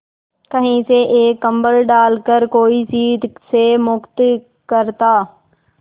कहीं से एक कंबल डालकर कोई शीत से मुक्त करता